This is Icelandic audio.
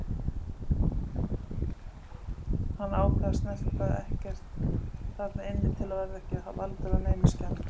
Hann ákvað að snerta ekkert þarna inni til að verða ekki valdur að neinum skemmdum.